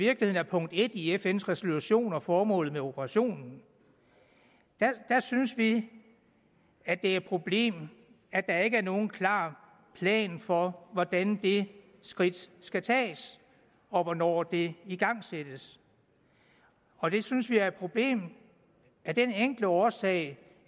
er punkt en i fns resolution og formålet med operationen der synes vi at det er et problem at der ikke er nogen klar plan for hvordan det skridt skal tages og hvornår det igangsættes og vi synes det er et problem af den enkle årsag